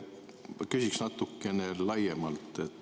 Ma küsin natuke laiemalt.